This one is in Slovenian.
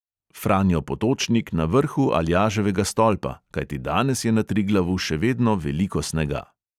Franjo potočnik na vrhu aljaževega stolpa, kajti danes je na triglavu še vedno veliko snega.